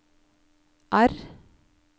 R